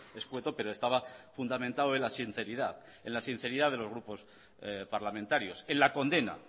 escueto pero estaba fundamentado en la sinceridad en la sinceridad de los grupos parlamentarios en la condena